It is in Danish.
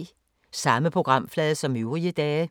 Samme programflade som øvrige dage